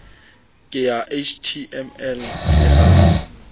ke ya html le ha